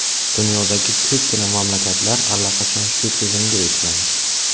Dunyodagi ko‘pgina mamlakatlar allaqachon shu tizimga o‘tgan.